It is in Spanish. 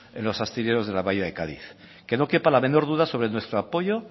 en los astilleros de la bahía de cádiz que no quepa la menor duda sobre nuestro apoyo